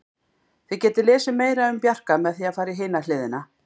Þið getið lesið meira um Bjarka með því að fara í hina hliðina.